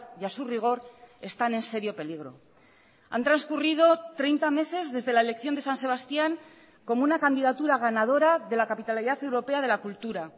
y a su rigor están en serio peligro han transcurrido treinta meses desde la elección de san sebastián como una candidatura ganadora de la capitalidad europea de la cultura